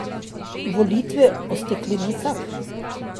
Volitve o steklenicah?